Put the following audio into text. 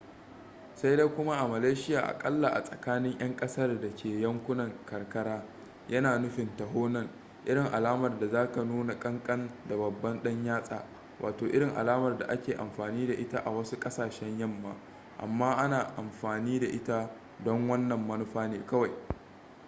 sai dai kuma a malaysiya aƙalla a tsakanin 'yan kasar da ke yankunan karkara yana nufin taho nan irin alamar da zaka nuna kankan da babban dan yatsa wato irin alamar da ake amfani da ita a wasu ƙasashen yamma amma ana amfani da ita don wannan manufa ne kawai